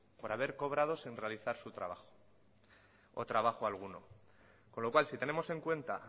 por haber cobrado sin realizar su trabajo o trabajo alguno con lo cual si tenemos en cuenta